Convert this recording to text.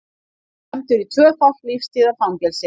Dæmdur í tvöfalt lífstíðarfangelsi